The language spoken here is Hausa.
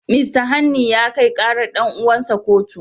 Mista Hanni ya kai karar dan'uwarsa kotu.